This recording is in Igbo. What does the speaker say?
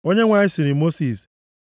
Onyenwe anyị sịrị Mosis,